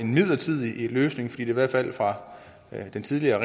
midlertidig løsning fordi der i hvert fald fra den tidligere